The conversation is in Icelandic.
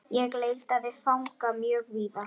Ég leitaði fanga mjög víða.